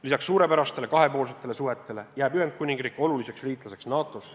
Lisaks suurepärastele kahepoolsetele suhetele jääb Ühendkuningriik oluliseks liitlaseks NATO-s.